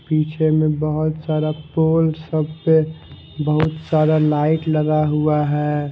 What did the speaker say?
पीछे में बहोत सारा पोल सब पे बहोत सारा लाइट लगा हुआ है।